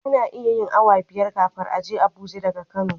Ana iya yin awa biyar kafin a je abuja daga kano